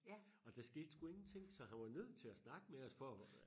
og der skete sku ingenting så han var nødt til at snakke med os for